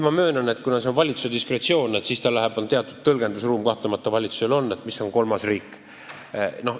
Ma möönan, et kuna jutt on valitsuse diskretsioonist, siis valitsusel kahtlemata on siin teatud tõlgendusruum, mis on kolmas riik.